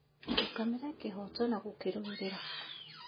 Rũgamira kĩhooto na gũkĩrũĩrĩra